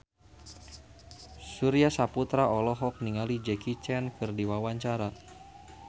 Surya Saputra olohok ningali Jackie Chan keur diwawancara